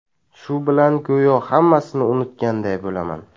Shu bilan go‘yo hammasini unutganday bo‘laman.